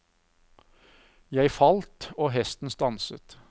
Jeg falt, og hesten stanset.